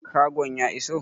Kagon ya iso?